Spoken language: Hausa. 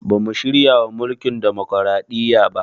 Bamu shiryawa mulkin demokaraɗiya ba